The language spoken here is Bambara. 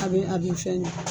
A a be fɛn gɛ